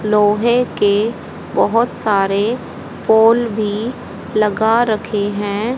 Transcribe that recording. लोहे के बहोत सारे पोल भी लगा रखे है।